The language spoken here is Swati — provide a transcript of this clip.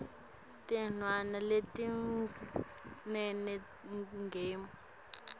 tinyanga letintsatfu ngemuva